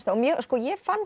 ég fann